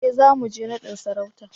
E, zamu je naɗin sarautar.